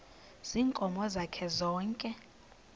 ziinkomo zakhe zonke